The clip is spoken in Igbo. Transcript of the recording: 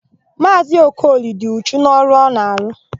Maazị Okoli dị uchu n'ọrụ ọ na-arụ.